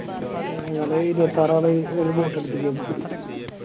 ഞങ്ങള് ഇരുപത്താറാള് ഒര് Boat എട്ത്ത്ക്കേനു